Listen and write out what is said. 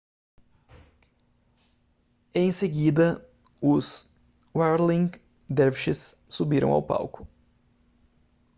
em seguida os whirling dervishes subiram ao palco